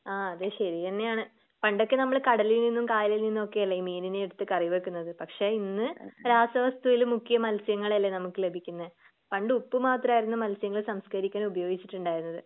ആ അത് ശരിതന്നെയാണ് പണ്ടൊക്കെ നമ്മൾ കടയിൽ നിന്നും കായലിൽ നിന്നും ഒക്കെയല്ലേ ഈ മീനിനെ എടുത്ത് കറിവെക്കുന്നത് പക്ഷേ ഇന്ന് രാസവസ്തുവിൽ മുക്കിയ മത്സ്യങ്ങളല്ലേ നമുക്ക് ലഭിക്കുന്നേ പണ്ട് ഉപ്പു മാത്രമായിരുന്നു മത്സ്യങ്ങളെ സംസ്ക്കരിക്കാൻ ഉപയോഗിച്ചിട്ടുണ്ടായിരുന്നത്